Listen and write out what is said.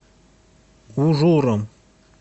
ужуром